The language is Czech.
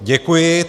Děkuji.